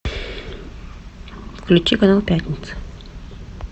включи канал пятница